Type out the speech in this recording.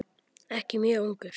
Ekki mjög ungur.